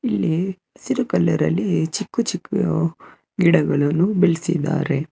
ಇಲ್ಲಿ ಹಸಿರು ಕಲರ್ ಅಲ್ಲಿ ಚಿಕ್ಕು ಚಿಕ್ಕು ಗಿಡಗಳನ್ನು ಬೆಳೆಸಿದ್ದಾರೆ.